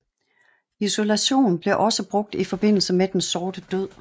Isolation blev også brugt i forbindelse med Den sorte død